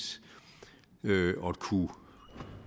at kunne